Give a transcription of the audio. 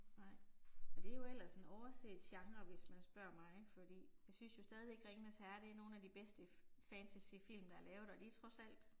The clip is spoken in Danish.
Nej. Og det er jo ellers en overset genre hvis man spørger mig, fordi jeg synes jo stadigvæk Ringenes Herre er nogle af de bedste fantasyfilm der er lavet og de er trods alt